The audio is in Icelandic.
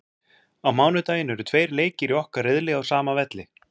Á mánudaginn eru tveir leikir í okkar riðli á sama velli.